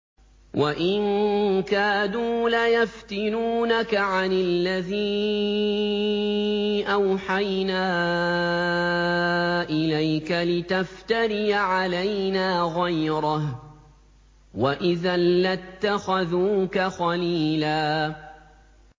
وَإِن كَادُوا لَيَفْتِنُونَكَ عَنِ الَّذِي أَوْحَيْنَا إِلَيْكَ لِتَفْتَرِيَ عَلَيْنَا غَيْرَهُ ۖ وَإِذًا لَّاتَّخَذُوكَ خَلِيلًا